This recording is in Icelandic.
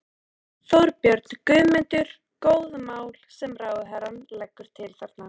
Þorbjörn: Guðmundur, góð mál sem ráðherrann leggur til þarna?